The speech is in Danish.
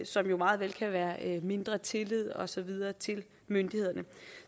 som jo meget vel kan være mindre tillid og så videre til myndighederne